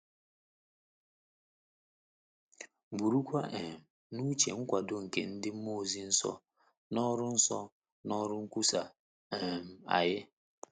Burukwa um n’uche nkwado nke ndị mmụọ ozi nsọ na ọrụ nsọ na ọrụ nkwusa um anyị.